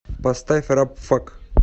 поставь рабфак